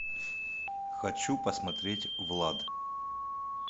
хочу посмотреть влад